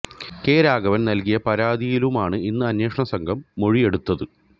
K Raghavan നൽകിയ പരാതിയിലുമാണ് ഇന്ന് അന്വേഷണ സംഘം മൊഴിയെടുത്തത്